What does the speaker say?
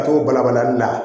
Ka t'o balabalali bila